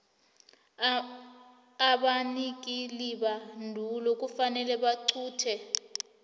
abanikelibandulo kufanele baqunte